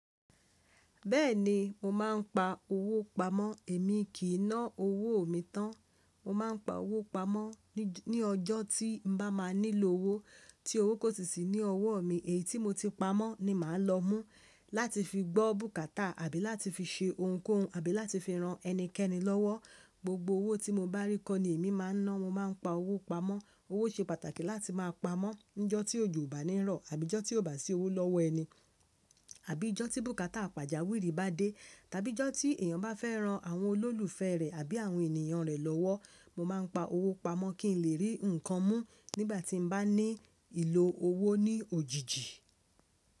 Bẹ́ẹ̀ni, mo máa ń pa owó pamọ́, èmi kì í ná owó mi tán. Mo máa ń pa owó pamọ́ ní ọjọ́ tí n bá máa nílò owó tí owó kò sì sí ní ọwọ́ mi, èyí tí mo ti pamọ́ ni màá lọ mú láti fi gbọ́ bùkátà àbí láti fi ṣe ohunkóhun àbí láti fi ran ẹnikẹ́ni lọ́wọ́. Gbogbo owó tí mo bá rí kọ ní èmi máa ń ná, mo máa ń pa owó pamọ́. Owó ṣe pàtàkì láti máa pamọ́. Ǹjọ́ tí òjò bá ní rọ̀ àbí ọjọ́ tí ó bá sí owó lọ́wọ́ ẹni, àbí ọjọ́ tí bùkátà pàjáwìrì bá dé, tàbí ọjọ́ tí èèyàn bá fẹ́ ran àwọn olólùfẹ́ rẹ̀ àbí àwọn ènìyàn rẹ̀ lọ́wọ́, mo máa ń pa owó pamọ́ kí n lè rí nǹkan mú nígbà tí mo bá ní ìlò owó ní òjijì.